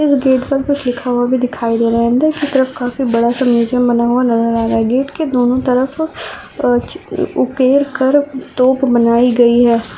एक गेट पर कुछ लिखा हुआ दिखाई दे रहा है अंदर से काफी बड़ा म्यूजियम बना हुआ नजर आ रहा है गेट के दोनो तरफ तोप बनाई गई है।